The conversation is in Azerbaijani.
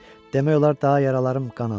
Demək olar daha yaralarım qanamır.